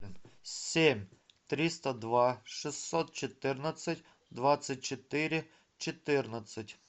семь триста два шестьсот четырнадцать двадцать четыре четырнадцать